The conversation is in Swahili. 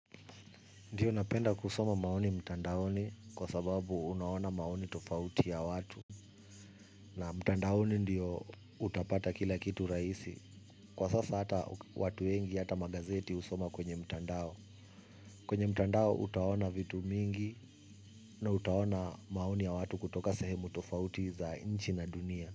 Ndiyo napenda kusoma maoni mtandaoni kwa sababu unaona maoni tofauti ya watu na mtandaoni ndiyo utapata kila kitu rahisi. Kwa sasa hata watu wengi hata magazeti husoma kwenye mtandao. Kwenye mtandao utaona vitu mingi na utaona maoni ya watu kutoka sehemu tofauti za inchi na dunia.